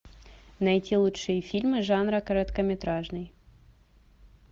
найти лучшие фильмы жанра короткометражный